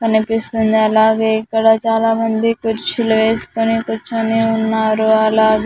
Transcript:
కనిపిస్తుంది అలాగే ఇక్కడ చాలామంది కుర్చీలు వేసుకుని కూర్చుని ఉన్నారు అలాగే.